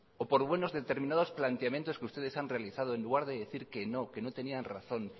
o por buenos determinados planteamientos que ustedes han realizado en lugar de decir que no que no tenían razón